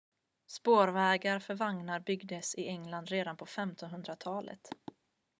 spårvägar för vagnar byggdes i england redan på 1500-talet